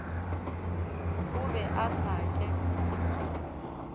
o be a sa ke